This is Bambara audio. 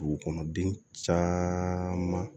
Dugukɔnɔ den caman